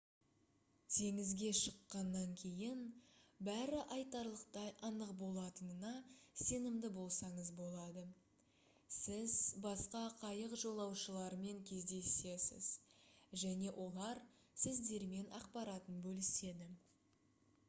теңізге шыққаннан кейін бәрі айтарлықтай анық болатынына сенімді болсаңыз болады сіз басқа қайық жолаушыларымен кездесесіз және олар сіздермен ақпаратын бөліседі